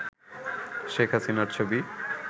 শেখ হাসিনার ছবি